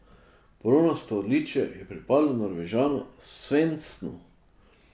Bronasto odličje je pripadlo Norvežanu Svendsnu.